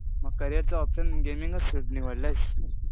मग करियरचं ऑप्शन गेमिंगच निवडलंयस?